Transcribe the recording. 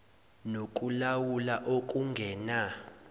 noku lawula okungena